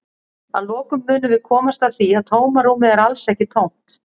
Að lokum munum við komast að því að tómarúmið er alls ekki tómt!